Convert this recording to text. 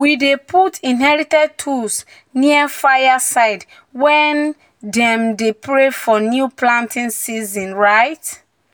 "we dey put inherited tools near fire side when dem um dey um pray for new planting season." um